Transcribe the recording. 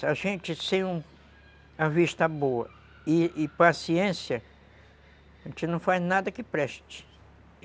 A gente, sem vista boa e paciência, a gente não faz nada que preste.